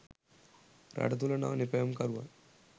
රට තුළ නව නිපැයුම්කරුවන්